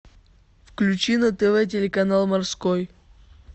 включи на тв телеканал морской